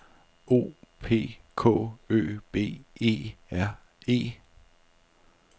O P K Ø B E R E